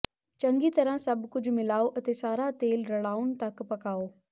ਚੰਗੀ ਤਰ੍ਹਾਂ ਸਭ ਕੁਝ ਮਿਲਾਓ ਅਤੇ ਸਾਰਾ ਤੇਲ ਰਲਾਉਣ ਤੱਕ ਪਕਾਉ